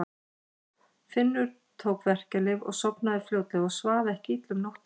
Finnur tók verkjalyf og sofnaði fljótlega og svaf ekki illa um nóttina.